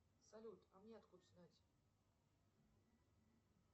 салют а мне откуда знать